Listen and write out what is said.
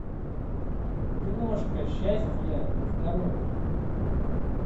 киношка счастье здоровье